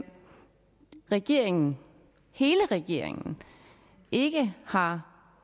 regeringen hele regeringen ikke har